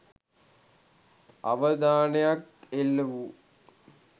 අවධානයක් එල්ල වූ